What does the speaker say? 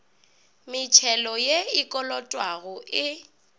metšhelo ye e kolotwago e